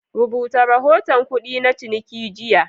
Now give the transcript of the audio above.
Rubuta rahoton kudi na cininki jiya.